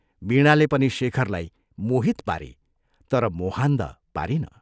वीणाले पनि शेखरलाई मोहित पारी तर मोहान्ध पारिन।